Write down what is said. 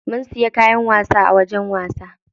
Mun siya kayan wasa a wajen wasa.